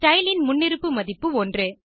style இன் முன்னிருப்பு மதிப்பு 1